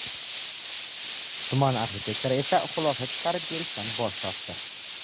Tuman arxitektori esa xulosa chiqarib berishdan bosh tortdi.